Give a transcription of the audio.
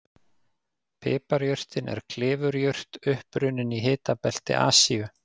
Piparjurtin er klifurjurt upprunnin í hitabelti Asíu.